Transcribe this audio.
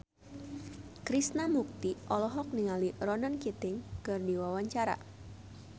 Krishna Mukti olohok ningali Ronan Keating keur diwawancara